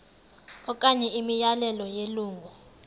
okanye imiyalelo yelungu